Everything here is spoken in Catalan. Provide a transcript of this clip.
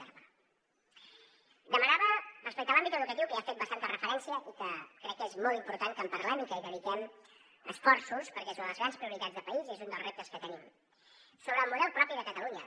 demanava respecte a l’àmbit educatiu que hi ha fet bastanta referència i que crec que és molt important que en parlem i que hi dediquem esforços perquè és una de les grans prioritats de país i és un dels reptes que tenim sobre el model propi de catalunya